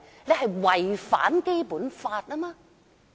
他們違反了《基本法》。